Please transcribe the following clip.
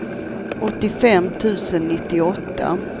åttiofem tusen nittioåtta